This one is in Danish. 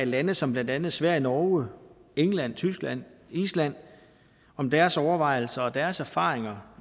lande som blandt andet sverige norge england tyskland og island om deres overvejelser og deres erfaringer